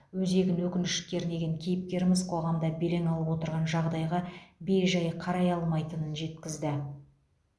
өзегін өкініш кернеген кейіпкеріміз қоғамда белең алып отырған жағдайға бей жай қарай алмайтынын жеткізді